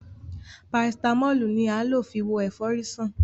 parasitámọ́lù ni a lo fi wo efori san.